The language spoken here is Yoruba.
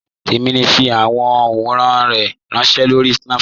Tẹ̀mi n fi awọn awòrán rẹ ránṣẹ̀ lórí Snapchat.